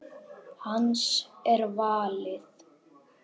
Hans er valið.